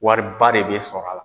Wari ba de bɛ sɔrɔ a la.